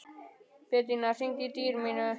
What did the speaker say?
Betanía, hringdu í Dýrmund.